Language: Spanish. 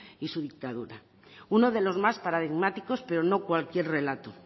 y su dictadura uno de los más paradigmáticos pero no cualquier relato